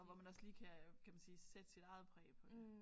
Og hvor man også lige kan kan man sige sætte sit eget præg på det